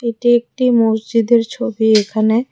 এটা একটি মসজিদের ছবি এখানে--